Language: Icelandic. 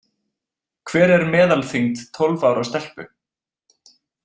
Hver er meðal þyngd tólf ára stelpu?